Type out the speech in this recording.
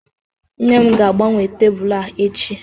nne m ga-agbanwe tabulu a echi